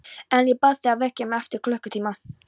En ég bað þig að vekja mig eftir klukkutíma.